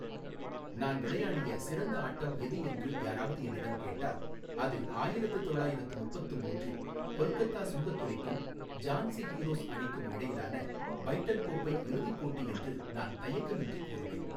நான் விளையாடிய சிறந்த ஆட்டம் எது என்று யாராவது என்னிடம் கேட்டால், அது ஆயிரத்து தொள்ளாயிரத்து முப்பத்து மூன்றில் கொல்கத்தா சுங்கத்துறைக்கும் ஜான்சி ஹீரோஸ் அணிக்கும் இடையிலான பைட்டன் கோப்பை இறுதிப் போட்டி என்று நான் தயக்கமின்றி கூறுவேன்.